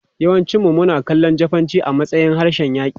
Yawancinmu suna kallon Jafananci a matsayin harshen yaƙi.